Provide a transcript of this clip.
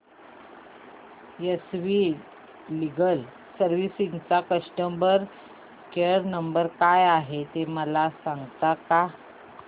S V legal services चा customer care number काय आहे मला सांगता का